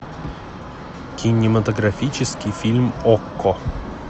кинематографический фильм окко